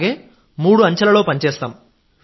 అలాగే మూడు అంచెలలో పనిచేస్తాం